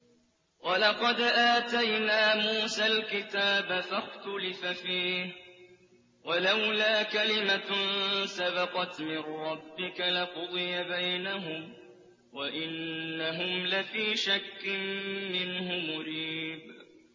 وَلَقَدْ آتَيْنَا مُوسَى الْكِتَابَ فَاخْتُلِفَ فِيهِ ۚ وَلَوْلَا كَلِمَةٌ سَبَقَتْ مِن رَّبِّكَ لَقُضِيَ بَيْنَهُمْ ۚ وَإِنَّهُمْ لَفِي شَكٍّ مِّنْهُ مُرِيبٍ